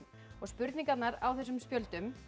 og spurningarnar á þessum spjöldum